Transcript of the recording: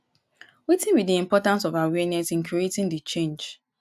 wetin be di importance of awareness in creating di change?